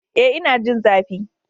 Ee, ina jin zafi.